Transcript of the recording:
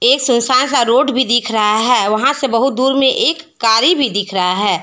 ये सुनसान सा रोड भी दिख रहा है वहां से बहुत दूर में एक गाड़ी भी दिख रहा है।